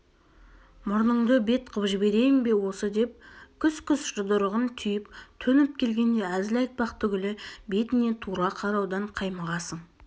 мұрныңды бет қып жіберейін бе осы деп күс-күс жұдырығын түйіп төніп келгенде әзіл айтпақ түгілі бетіне тура қараудан қаймығасың